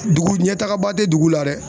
Dugu ɲɛtagaba tɛ dugu la dɛ.